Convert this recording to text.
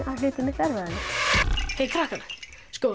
hlutirnir miklu erfiðari krakkar